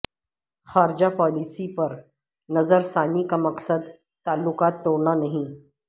خارجہ پالیسی پر نظر ثانی کا مقصد تعلقات توڑنا نہیں